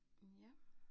Hm ja